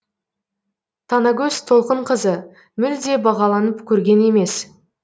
танагөз толқынқызы мүлде бағаланып көрген емес